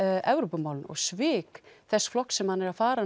Evrópumálin og svik þess flokks sem hann er að fara